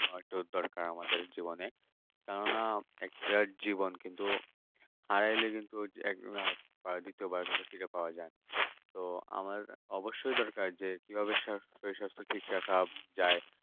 অটুট দরকার আমাদের জীবনে কেননা একটা জীবন কিন্তু হারালে কিন্তু ওই আর দ্বিতীয়বার সেটা ফিরে পাওয়া যায় না তো আমার অবশ্যই দরকার যে কিভাবে শরীর স্বাস্থ্য ঠিক রাখা যায়